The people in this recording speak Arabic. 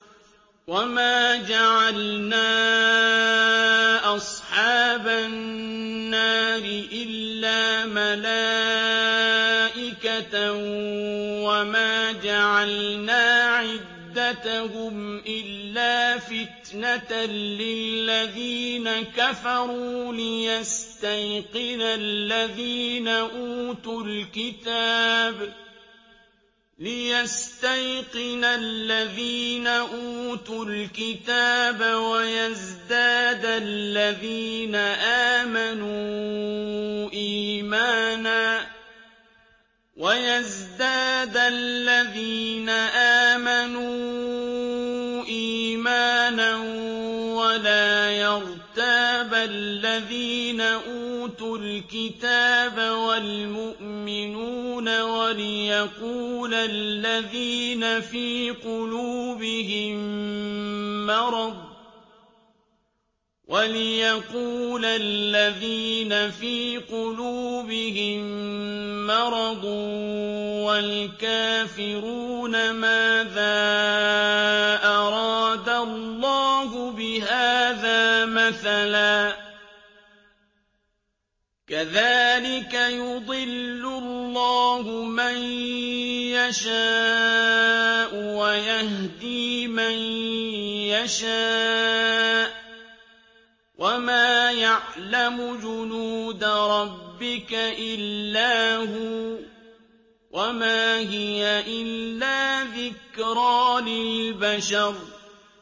وَمَا جَعَلْنَا أَصْحَابَ النَّارِ إِلَّا مَلَائِكَةً ۙ وَمَا جَعَلْنَا عِدَّتَهُمْ إِلَّا فِتْنَةً لِّلَّذِينَ كَفَرُوا لِيَسْتَيْقِنَ الَّذِينَ أُوتُوا الْكِتَابَ وَيَزْدَادَ الَّذِينَ آمَنُوا إِيمَانًا ۙ وَلَا يَرْتَابَ الَّذِينَ أُوتُوا الْكِتَابَ وَالْمُؤْمِنُونَ ۙ وَلِيَقُولَ الَّذِينَ فِي قُلُوبِهِم مَّرَضٌ وَالْكَافِرُونَ مَاذَا أَرَادَ اللَّهُ بِهَٰذَا مَثَلًا ۚ كَذَٰلِكَ يُضِلُّ اللَّهُ مَن يَشَاءُ وَيَهْدِي مَن يَشَاءُ ۚ وَمَا يَعْلَمُ جُنُودَ رَبِّكَ إِلَّا هُوَ ۚ وَمَا هِيَ إِلَّا ذِكْرَىٰ لِلْبَشَرِ